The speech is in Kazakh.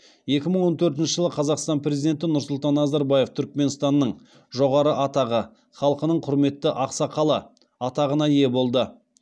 екі мың он төртінші жылы қазақстан президенті нұрсұлтан назарбаев түрікменстанның жоғары атағы халқының құрметті ақсақалы атағына ие болды